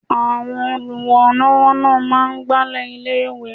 Àwọn olùrànlọ́wọ́ náà máa ń Agbálẹ̀ ilé ìwé.